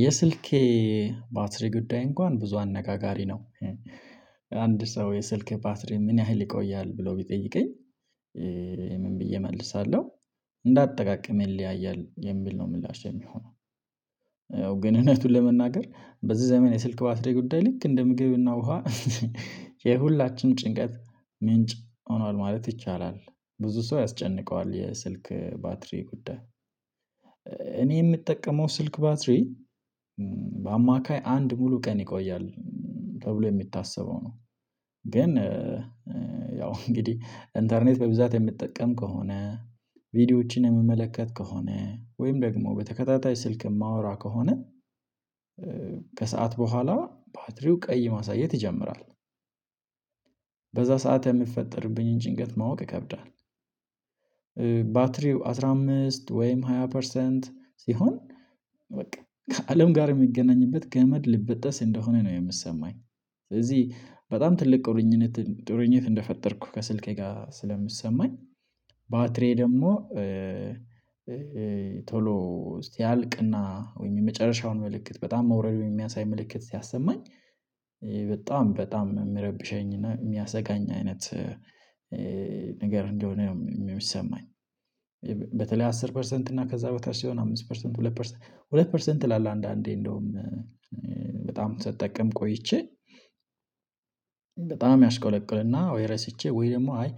የስልኬ ባትሪ ጉዳይ እንኳን ብዙ አነጋጋሪ ነው። አንድ ሰው የስልክህ ባትሪ ምን ያህል ይቆያል ብሎ ቢጠይቀኝ? ምን ብዬ እመልሳለሁ እንደ አጠቃቀሜ ይለያያል የሚል ነው ምላሼ የሚሆነው። ግን እውነቱን ለመናገር በዚህ ዘመን የስልክ ባትሪ ጉዳይ ልክ እንደ ምግብና ውሃ የሁላችንም ጭንቀት ምንጭ ሆኗል ማለት ይቻላል። ብዙ ሰው ያስጨንቀዋል የስልክ ባትሪ ጉዳይ እኔ የምጠቀመው ስልክ ባትሪ በአማካይ አንድ ሙሉ ቀን ይቆያል። ተብሎ ነው የሚታሰበው ነው። ግን ያው እንግዲህ ኢንተርኔት በብዛት የምጠቀም ከሆነ ቪዲዮዎችን የምመለከት ከሆነ ወይም ደግሞ በተከታታይ ስልክ የማወራ ከሆነ ከሰአት በኋላ ባትሪው ቀይ ማሳየት ይጀምራል በዛ ሰዓት የሚፈጠርብኝን ጭንቀት ማወቅ ይከብዳል። ባትሪው አስራ አምስት ወይም ሃያ ፐርሰንት ሲሆን በቃ ከአለም ጋር የምገናኝበት ገመድ ሊበጠስ እንደሆነ ነው የምሰማኝ። ስለዚህ በጣም ትልቅ ቁርኝት ቁርኝት እንደፈጠርኩ ከስልኬ ጋር ስለሚሰማኝ። ባትሪየ ደግሞ ቶሎ ሲያልቅና ወይም የመጨረሻውን ምልእክት በጣም መውረዱን የሚያሳይ ምልክት ሲያሰማኝ በጣም በጣም የሚረብሸኝ እና የሚያሰጋኝ አይነት ነገር እንደሆነ ነው የሚሰማኝ። በተለይ አስር ፐርሰንት እና ከዛ በታች ሲሆን አምስት ፐርሰንት ሁለት ፐርሰንት ሁለት ፐርሰንት ይላል አንዳንዴ እንደውም በጣም ስጠቀም ቆይቼ በጣም ያሽቆለቅልና ወይ ረሽቼ ወይ ደግሞ አይ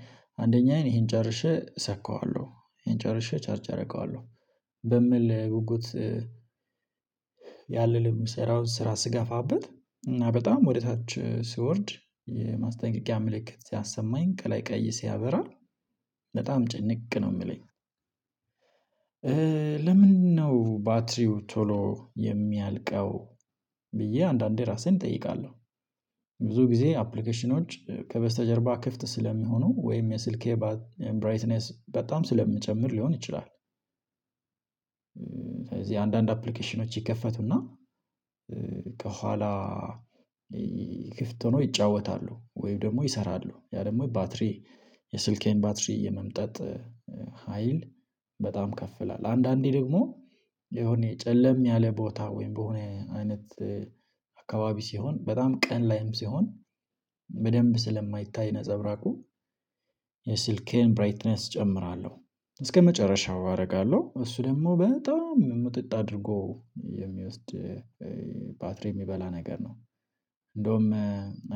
አንደኛዬን ይሄን ጨርሼ እሰካዋለሁ ይሄን ጨርሴ ቻርጅ አደርገዋለሁ። በሚል ጉጉት ያንን የምሰራውን ስራ ስጋፋበት እና በጣም ወደ ታች ሲወርድ የማስጠንቀቂያ ምልክት ሲያሰማኝ ከላይ ቀይ ሲያበራ በጣም ጭንቅ ነው የሚለኝ። ለምንድነው ባትሪው ቶሎ የሚያልቀው? ብዬ አንዳንዴ ራሴን እጠይቃለሁ ብዙ ጊዜ አፕሊኬሽኖች ከበስተጀርባ ክፍት ስለሚሆኑ ወይም የስልኬ ብራይትነስ በጣም ስለምጨምር ሊሆን ይችላል። ስለዚህ አንዳንድ አፕሊኬሽኖች ይከፈቱና ከኋላ ክፍት ሆኖ ይጫወታሉ ወይም ደግሞ ይሰራሉ ያ ደግሞ ባትሪ የስልኬን ባትሪ የመምጠጥ ሀይል በጣም ከፍ ይላል አንዳንዴ ደግሞ የሆነ የጨለም ያለ ቦታ ወይም በሆነ አይነት አካባቢ ሲሆን በጣም ቀን ላይም ሲሆን በደንብ ስለማይታይ ነፀብራቁ የስልኬን ብራይትነስ እጨምራለሁ እስከመጨረሻው አደርጋለሁ እሱ ደግሞ በጣም ምጥጥ አድርጎ የሚወስድ ባትሪ የሚበላ ነገር ነው። እንደውም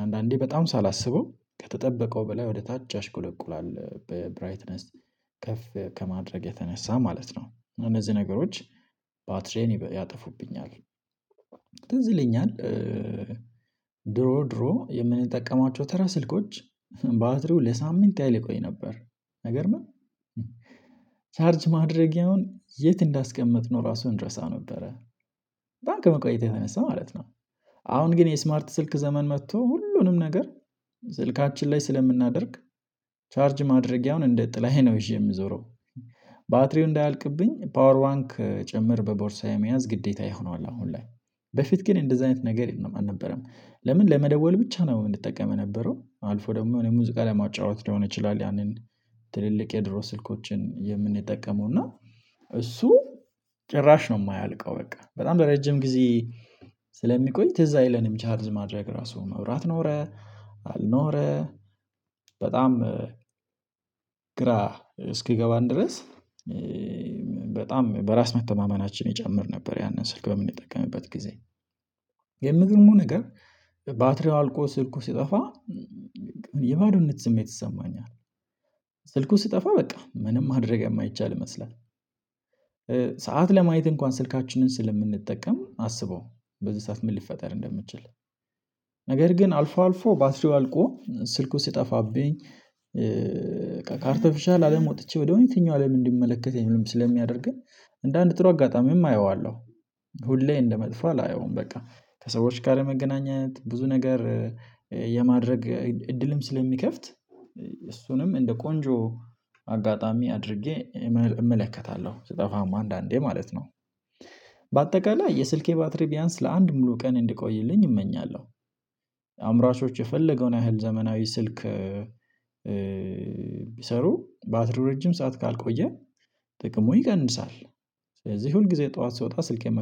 አንዳንዴ በጣም ሳላስበው ከተጠበቀው በላይ ወደ ታች ያሽቆለቁላል ብራይትነስ ከፍ ከማድረግ የተነሳ ማለት ነው እነዚህ ነገሮች ባትሪዬን ያጠፉብኛል። ትዝልኛል ድሮ ድሮ የምንጠቀማቸው ተረ ስልኮች ባትሪው ለሳምንት ያህል ይቆይ ነበር። አይገርምም። ቻርጅ ማድረጊያውን የት እንዳስቀመጥነው ራሱ እንረሳው ነበረ በጣም ከመቆየቱ የተነሳ ማለት ነው። አሁን ግን የስማርት ስልክ ዘመን መጥቶ ሁሉንም ነገር ስልካችን ላይ ስለምናደርግ ቻርጅ ማድረጊያውን እንደ ጥላየ ነው ይዤ የምዞረው። ባትሪው እንዳያልቅብኝ ፓወር ባንክ ጭምር በቦርሳዬ መያዝ ግዴታ ይሆናል። አሁን ላይ በፊት ግን እንደዚህ አይነት ነገር አልነበረም። ለምን ለመደወል ብቻ ነው የምትጠቀመው የነበረው አልፎ ደግሞ የሆነ ሙዚቃ ለማጫወት ሊሆን ይችላል። ያንን ትልልቅ የድሮ ስልኮችን የምንጠቀመው እና እሱ ጭራሽ ነው የማያልቀው በቃ በጣም በረጅም ጊዜ ስለሚቆይ ትዝ አይለንም ቻርዝ ማድረግ ራሱ መብራት ኖረ። አልኖረ በጣም ግራ እስኪገባን ድረስ በጣም በራስ መተማመናችን ይጨምር ነበር። ያንን ስልክ በምንጠቀምበት ጊዜ የሚገርመው ነገር ባትሪው አልቆ ስልኩ ሲጠፋ የባዶነት ስሜት ይሰማኛል። ስልኩ ስጠፋ በቃ ምንም ማድረግ የማይቻል ይመስላል። ለማየት እንኳን ስልካችንን ስለምንጠቀም አስበው በዚህ ሰዓት ምን ሊፈጠር እንደሚችል ነገር ግን አልፎ አልፎ ባትሪው አልቆ ስልኩ ሲጠፋብኝ ካርተፍሻል አለም ወጥቼ ወደ እውነተኛው አለም እንድመለከት የምልም ስለሚያደርገኝ እንደ አንድ ጥሩ አጋጣሚም አየዋለሁ። ሁሌ እንደ መጥፎ አላየውም። በቃ ከሰዎች ጋር መገናኘት ብዙ ነገር የማድረግ እድልም ስለሚከፍት እሱንም እንደ ቆንጆ አጋጣሚ አድርጌ እመለከታለሁ ስጠፋም አንዳንዴ ማለት ነው። በአጠቃላይ የስልኬ ባትሪ ቢያንስ ለአንድ ሙሉ ቀን እንድቆይልኝ እመኛለሁ። አምራቾች የፈለገውን ያህል ዘመናዊ ስልክ ቢሰሩ ባትሪው ረጅም ሰዓት ካልቆየ ጥቅሙ ይቀንሳል። ስለዚህ ሁል ጊዜ ጠዋት ስወጣ ስልኬን